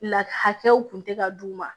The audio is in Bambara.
La hakɛw kun tɛ ka d'u ma